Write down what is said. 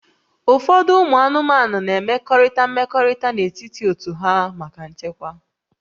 Ụfọdụ ụmụ anụmanụ na-emekọrịta mmekọrịta n'etiti otu ha maka nchekwa